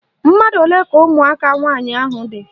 Mmadụ olee ka ụmụaka nwaanyị dị?